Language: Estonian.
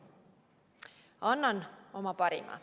Annan oma parima.